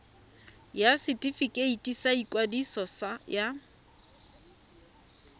ya setefikeiti sa ikwadiso ya